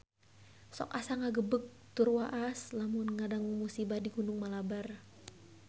Sok asa ngagebeg tur waas lamun ngadangu musibah di Gunung Malabar